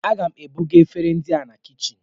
A ga m ebuga efere ndị a na kichin